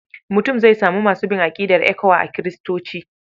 Mutum zai samu masu bin aƙidar ECWA a Kiristoci.